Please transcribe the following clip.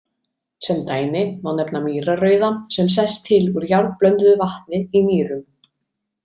Sem dæmi má nefna mýrarrauða sem sest til úr járnblönduðu vatni í mýrum.